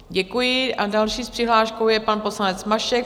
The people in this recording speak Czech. Děkuji a další s přihláškou je pan poslanec Mašek.